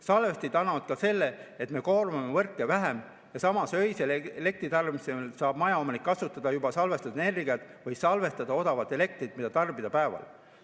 Salvestid tagavad ka selle, et me koormame võrke vähem ja samas öisel elektritarbimisel saab majaomanik kasutada juba salvestatud energiat või salvestada odavat elektrit, mida tarbida päeval.